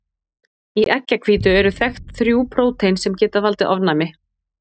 Í eggjahvítu eru þekkt þrjú prótein sem geta valdið ofnæmi.